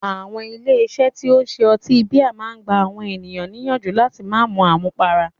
Àwọn ilé iṣé tí o ń ṣe ọtí bíà a máà gbà àwọn ènìyàn níyànjú láti má mú àmúpará.